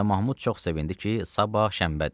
Mirzə Mahmud çox sevindi ki, sabah şənbədir.